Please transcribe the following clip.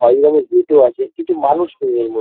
পাঁচ নম্বর গেট-ও আছে কিন্তু মানুষ নেই এর ম--